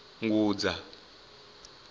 ngudza